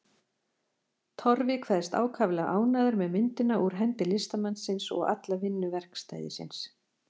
Torfi kveðst ákaflega ánægður með myndina úr hendi listamannsins og alla vinnu verkstæðisins.